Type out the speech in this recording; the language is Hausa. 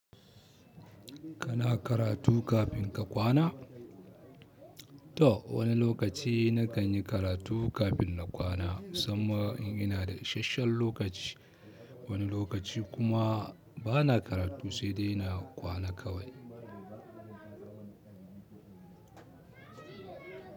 Kana karatu kafin ka kwana? To wani lokaci na kan yi karatu kafin na kwana, musamman in ina da ishashshan lokaci. Wani lokaci kuma bana karatu sai dai na kwana kawai.